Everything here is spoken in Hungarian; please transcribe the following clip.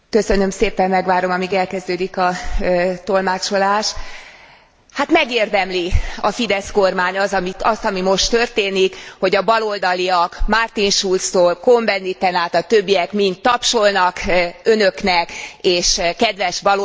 Hát megérdemli a Fidesz kormány azt, ami most történik, hogy a baloldaliak Martin Schulztól, Cohn Benditen át a többiekig mind tapsolnak Önöknek, és kedves baloldali képviselőtársaink adják Önöknek a leckéket demokráciából.